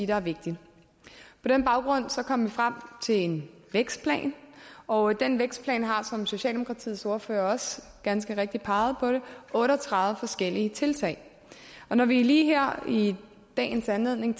var vigtigt på den baggrund kom vi frem til en vækstplan og den vækstplan har som socialdemokratiets ordfører også ganske rigtigt pegede på otte og tredive forskellige tiltag når vi lige her i i dagens anledning